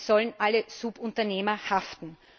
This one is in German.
Es sollen alle Subunternehmer haften.